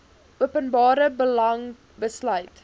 openbare belang besluit